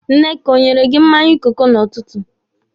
Nneka o nyere gị mmanya kooku n'ụtụtụ?